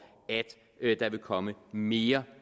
at der vil komme mere